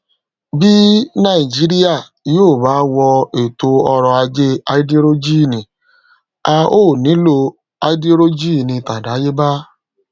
bí nàìjíríà yòó bá wọ ètò ọrò ajé háídírójìnì a óò nílò háídírójìnì tàdáyébá